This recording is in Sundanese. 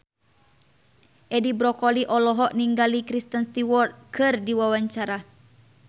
Edi Brokoli olohok ningali Kristen Stewart keur diwawancara